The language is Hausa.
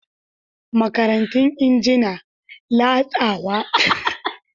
Makarantun injina, latsawa, zub da rayuwa cikin kalmomi, canza tawada zuwa labari.